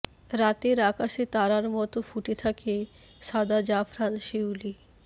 রাতের আকাশে তারার মতো ফুটে থাকে সাদা জাফরান শিউলি